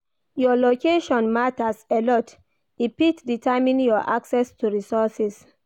Your location matters a lot e fit determine your access to resourses